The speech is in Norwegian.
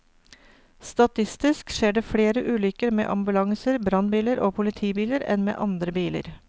Statistisk skjer det flere ulykker med ambulanser, brannbiler og politibiler enn med andre biler.